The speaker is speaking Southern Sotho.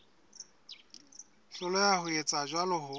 hloleha ho etsa jwalo ho